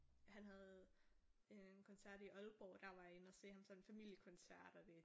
Han havde en koncert i Aalborg og der var jeg inde og se ham sådan en familiekoncert og det